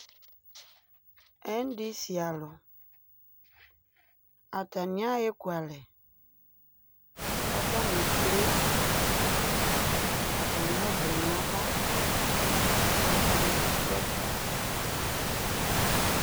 endisi alɔ atani awa ɛfɔkalɛ atani eklɛ atani ɔflɛ nu ava katani dɔɛdi